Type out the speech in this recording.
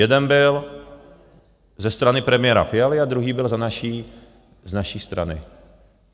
Jeden byl ze strany premiéra Fialy a druhý byl z naší strany.